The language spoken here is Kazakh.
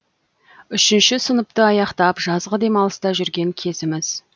үшінші сыныпты аяқтап жазғы демалыста жүрген кезіміз